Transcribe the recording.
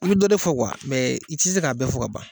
I bɛ dɔ de fɔ i tɛ se k'a bɛɛ fɔ ka ban.